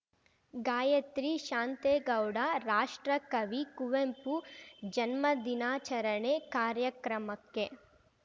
ಗಾಯತ್ರಿ ಶಾಂತೇಗೌಡ ರಾಷ್ಟ್ರ ಕವಿ ಕುವೆಂಪು ಜನ್ಮ ದಿನಾಚರಣೆ ಕಾರ್ಯಕ್ರಮಕ್ಕೆ